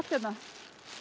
hérna